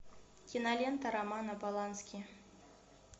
кинолента романа полански